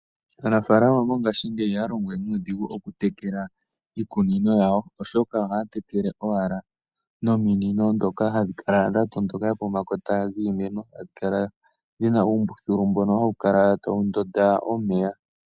Aanafaalama mongaashingeyi ihaya longo we nuudhigu, okutekela iikunino yawo, oshoka ohaya tekele owala nominino ndhoka hadhi kala dhatondoka pomakota giimeno, hadhi kala dhina uumbuthulu mbono hawu kala tawu ndota omeya.